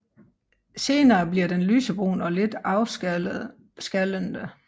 Senere bliver den lysebrun og lidt afskallende